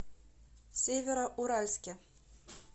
североуральске